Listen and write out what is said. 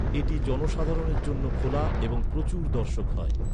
এটি জনসাধারণের জন্য খোলা এবং প্রচুর দর্শক হয়।